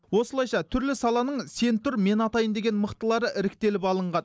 осылайша түрлі саланың сен тұр мен атайын деген мықтылары іріктеліп алынған